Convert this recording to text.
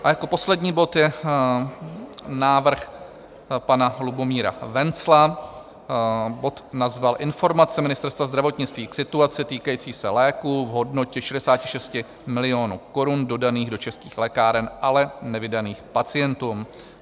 A jako poslední bod je návrh pana Lubomíra Wenzla, bod nazval Informace Ministerstva zdravotnictví k situaci týkající se léků v hodnotě 66 milionů korun dodaných do českých lékáren, ale nevydaných pacientům.